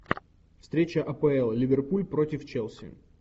встреча апл ливерпуль против челси